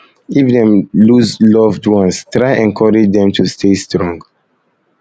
if dem loose loved ones try encourage dem to stay strong